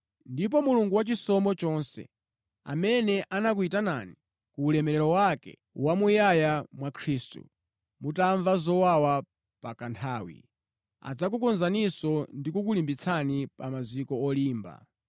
Ndipo Mulungu wachisomo chonse, amene anakuyitanani ku ulemerero wake wamuyaya mwa Khristu, mutamva zowawa pa kanthawi, adzakukonzaninso ndi kukulimbitsani pa maziko olimba.